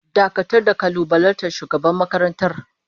Dakatar da kalubalantar shugaban makarantar!